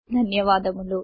ధన్యవాదములు